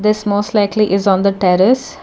this most likely is on the terrace